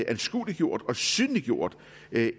anskueliggjort og synliggjort